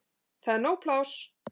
Það er nóg pláss.